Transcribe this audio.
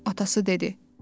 atası dedi.